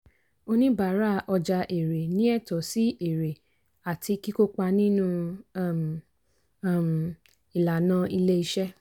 oníbàárà ọjà èèrè ní ẹ̀tọ́ sí èèrè àti kíkópà nínú um um ìlànà ilé iṣẹ́.